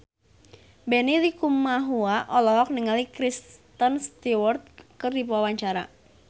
Benny Likumahua olohok ningali Kristen Stewart keur diwawancara